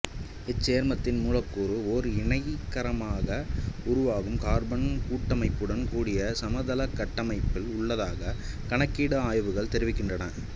இச்சேர்மத்தின் மூலக்கூறு ஓர் இணைகரமாக உருவாகும் கார்பன் கட்டமைப்புடன் கூடிய சமதளக் கட்டமைப்பில் உள்ளதாக கணக்கீட்டு ஆய்வுகள் தெரிவிக்கின்றன